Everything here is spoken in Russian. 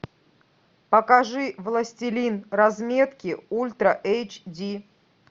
покажи властелин разметки ультра эйч ди